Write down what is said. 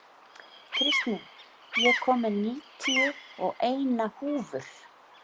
Kristný, ég kom með níutíu og eina húfur!